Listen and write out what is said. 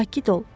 Sakit ol.